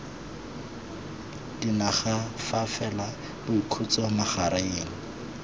dinaga fa fela boikhutso magareng